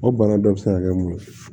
O bana dɔ bɛ se ka kɛ mun ye